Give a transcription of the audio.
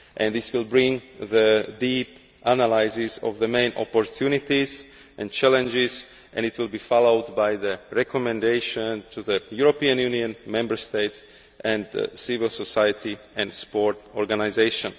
This will bring deep analyses of the main opportunities and challenges, and it will be followed by the recommendation to the European Union Member States, civil society and sport organisations.